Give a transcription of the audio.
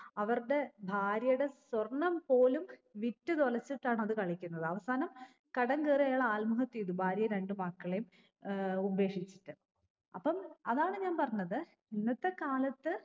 അവർടെ ഭാര്യേടെ സ്വർണം പോലും വിറ്റു തൊലച്ചിട്ടാണ് അത് കളിക്കുന്നത് അവസാനം കടം കേറി അയാൾ ആത്മഹത്യ ചെയ്തു ഭാര്യേം രണ്ട് മക്കളെയും ഏർ ഉപേക്ഷിച്ചിട്ട് അപ്പം അതാണ് ഞാൻ പറഞ്ഞത് ഇന്നത്തെ കാലത്ത്